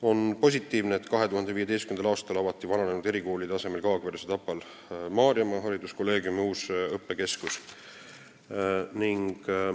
On positiivne, et 2015. aastal avati vananenud erikoolide asemel Kaagveres ja Tapal Maarjamaa Hariduskolleegiumi uus õppekeskus.